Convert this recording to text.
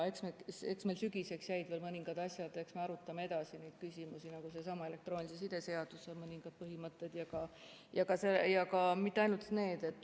Eks meil sügiseks jäid veel mõningad teemad üles, me arutame edasi neid küsimusi, nagu selle sama elektroonilise side seaduse mõningad põhimõtted, aga mitte ainult.